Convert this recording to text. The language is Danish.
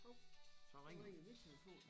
Hov så ringede min telefon